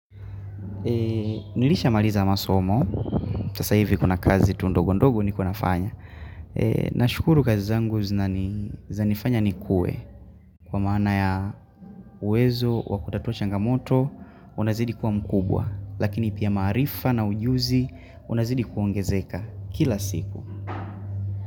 Nilishamaliza masomo, sasa hivi kuna kazi tu ndogondogo ni kuwa fanya Nashukuru kazi zangu zanifanya ni kue Kwa maana ya uwezo wa kutatua changamoto unazidi kuwa mkubwa Lakini pia maarifa na ujuzi unazidi kuongezeka kila siku.